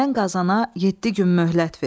Mən Qazana yeddi gün möhlət ver.